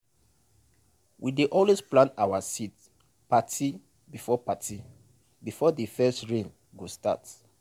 we dey always plan our seed parti before parti before de first rain go start.